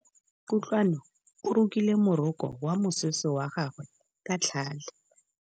Kutlwanô o rokile morokô wa mosese wa gagwe ka tlhale.